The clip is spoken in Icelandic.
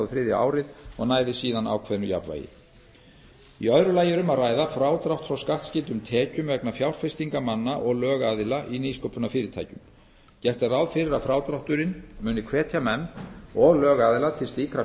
og þriðja árið og næði síðan ákveðnu jafnvægi því öðru lagi er um að ræða frádrátt frá skattskyldum tekjum vegna fjárfestinga manna og lögaðila í nýsköpunarfyrirtækjum gert er ráð fyrir að frádrátturinn muni hvetja menn og lögaðila til slíkra